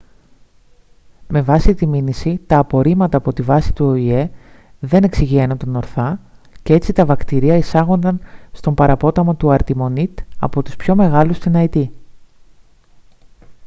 με βάση τη μήνυση τα απορρίμματα από τη βάση του οηε δεν εξυγιαίνονταν ορθά και έτσι τα βακτήρια εισάγονταν στον παραπόταμο του αρτιμονίτ από τους πιο μεγάλους στην αϊτή